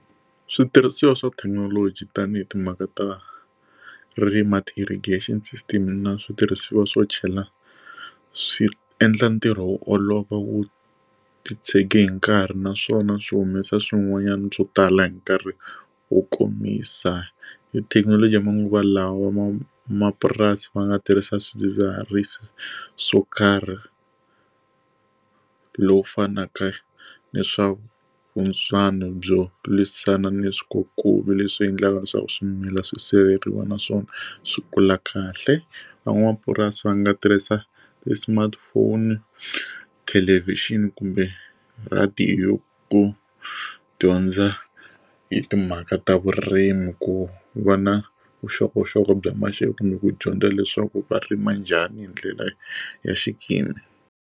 Switirhisiwa swa thekinoloji tanihi timhaka ta irrigation system na switirhisiwa swo tshovela swi endla ntirho wu olova wu ti tshege hi nkarhi naswona swi humesa swin'wanyana byo tala hi nkarhi wo komisa hi thekinoloji ya manguva lawa van'wamapurasi va nga tirhisa swidzidziharisi swo karhi lowu fanaka na swaku byo lwisana ni swikulu leswi endlaka leswaku swimila swi siveriwa na swona swi kula kahle van'wamapurasi va nga tirhisa ti smartphone thelevhixini kumbe radio ku dyondza hi timhaka ta vurimi ku va na vuxokoxoko bya maxelo kumbe ku dyondza leswaku va rima njhani hi ndlela ya xikimi.